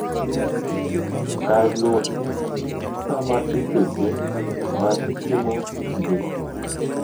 kar luwo chik sama eseche ma gitimo tijegi.